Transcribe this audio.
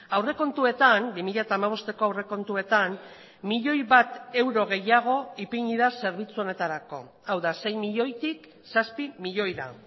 aurrekontuetan bi mila hamabosteko aurrekontuetan milioi bat euro gehiago ipini da zerbitzu honetarako hau da sei milioitik zazpi milioira